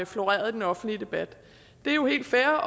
floreret i den offentlige debat det er jo helt fair